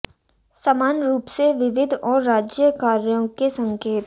समान रूप से विविध और राज्य कार्यों के संकेत